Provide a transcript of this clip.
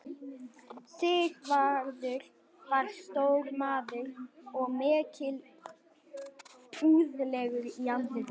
Sigvarður var stór maður og mikilúðlegur í andliti.